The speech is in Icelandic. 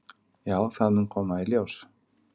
"""Já, það mun koma í ljós."""